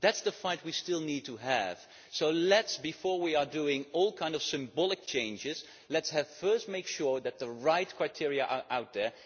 That is the fight we still need to have. So, before we make all kind of symbolic changes, let us first make sure that the right criteria are out there.